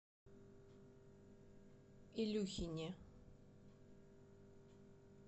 илюхине